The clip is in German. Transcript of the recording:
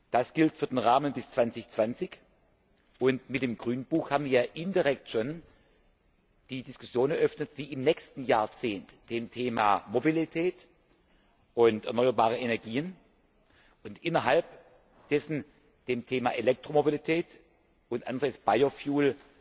Das gilt für den Rahmen bis 2020, und mit dem Grünbuch haben wir ja indirekt schon die Diskussion eröffnet, wie im nächsten Jahrzehnt beim Thema Mobilität und erneuerbare Energien und innerhalb dessen beim Thema Elektromobilität und Biofuel